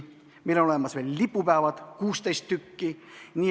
Meil on olemas veel lipupäevad, 16 tükki.